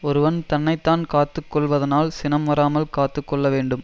ஒருவன் தன்னை தான் காத்து கொள்வதானால் சினம் வராமல் காத்து கொள்ள வேண்டும்